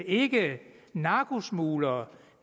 ikke narkosmuglere